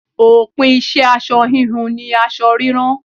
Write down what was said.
Òpin iṣẹ́ aṣọ hínu ni aṣọ rírán.